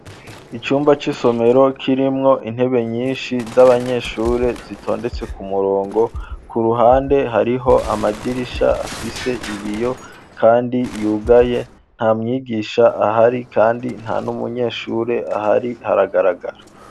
Icumba c'isomero kirimwo intebe nyinshi z'abanyeshure zitondetse ku murongo ku ruhande hariho amadirisha afise ibiyo, kandi yugaye nta mwigisha ahari, kandi nta n'umunyeshure ahari haragaragara.